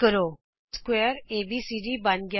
ਸਮਕੋਣ ਚਤੁਰਭੁਜ ਏਬੀਸੀਡੀ ਬਣ ਗਿਆ ਹੈ